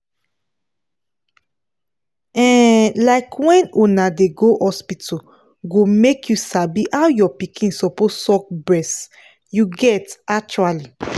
um like when una dey go hospital go make you sabi how your pikin suppose suck breast you get actually